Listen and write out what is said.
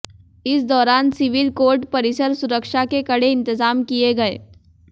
इस दौरान civil court परिसर सुरक्षा के कड़े इंतजाम किए गए